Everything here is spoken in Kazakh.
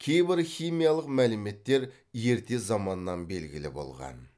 кейбір химиялық мәліметтер ерте заманнан белгілі болған